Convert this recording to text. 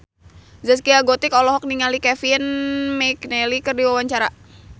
Zaskia Gotik olohok ningali Kevin McNally keur diwawancara